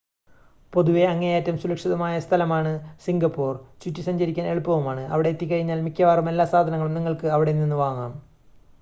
പൊതുവെ അങ്ങേയറ്റം സുരക്ഷിതമായ സ്ഥലമാണ് സിംഗപ്പുർ, ചുറ്റി സഞ്ചരിക്കാൻ എളുപ്പവുമാണ്, അവിടെ എത്തിക്കഴിഞ്ഞാൽ മിക്കവാറും എല്ലാ സാധനങ്ങളും നിങ്ങൾക്ക് അവിടെനിന്ന് വാങ്ങാം